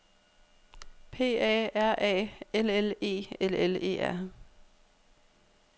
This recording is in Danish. P A R A L L E L L E R